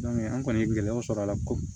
an kɔni ye gɛlɛyaw sɔrɔ a la ko